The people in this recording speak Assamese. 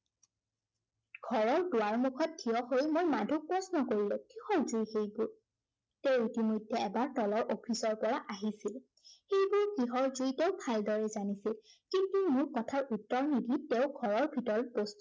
ঘৰৰ দুৱাৰ মুখত ঠিয় হৈ মই মাধুক প্ৰশ্ন কৰিলো। কিহৰ জুই সেইবোৰ। তেওঁ ইতিমধ্য়ে এবাৰ তলৰ office ৰ পৰা আহিছিল। সেইবোৰ কিহৰ জুই তেওঁ ভালদৰে জানিছিল। কিন্তু মোৰ কথাৰ উত্তৰ নিদি তেওঁ ঘৰৰ ভিতৰত